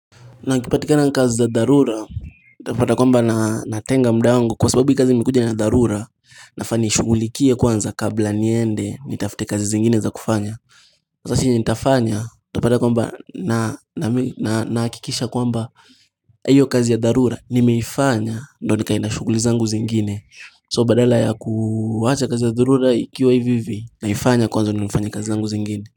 Na akipatikana na kazi za dharura Utapata kwamba natenga muda wangu kwa sababu hii kazi imekuja na dharura nafaa niishughulikie kwanza kabla niende nitafute kazi zingine za kufanya basi yenye nitafanya utapata kwamba na nahakikisha kwamba hiyo kazi ya dharura nimeifanya ndio nikaenda shuguli zangu zingine So badala ya kuwacha kazi ya dharura ikiwa hivi hivi naifanya kwanza ndio nifanya kazi zangu zingine.